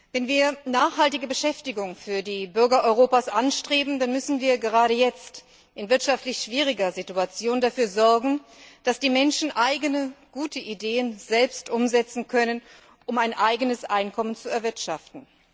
Wenn wir nachhaltige Beschäftigung für die Bürger Europas anstreben, dann müssen wir gerade jetzt, in wirtschaftlich schwieriger Situation, dafür sorgen, dass die Menschen eigene, gute Ideen selbst umsetzen können, um ein eigenes Einkommen zu erwirtschaften.